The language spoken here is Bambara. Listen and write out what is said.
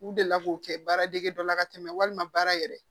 U delila k'o kɛ baaradege dɔ la ka tɛmɛ walima baara yɛrɛ